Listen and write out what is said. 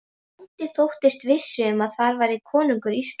Bóndi þóttist viss um að þar færi konungur Íslands.